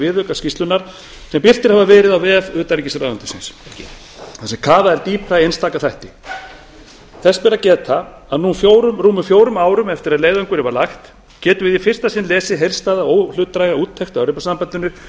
viðaukar skýrslunnar sem birtir hafa verið á vef utanríkisráðuneytisins þar sem kafað er dýpra í einstaka þætti þess ber að geta að nú rúmum fjórum árum eftir að í leiðangurinn var lagt getum við í fyrsta sinn lesið heildstæða og óhlutdræga úttekt á evrópusambandinu